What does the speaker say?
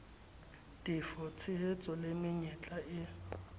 tefo ditshehetso le menyetla e